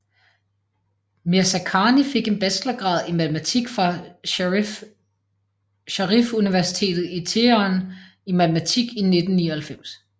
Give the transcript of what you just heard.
Mirzakhani fik en bachelorgrad i matematik fra Sharif Universitetet i Teheran i matematik i 1999